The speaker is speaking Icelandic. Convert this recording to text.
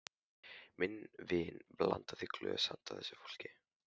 Minn vin blandaði í glös handa þessu fólki.